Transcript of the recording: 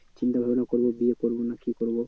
চিন্তা ভাবনা করবো বিয়ে করবো না কি করবো